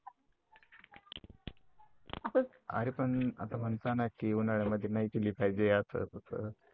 अरे पण असं म्हणतात ना कि उन्हाळ्यामध्ये नाही पिले पाहिजे असं तसं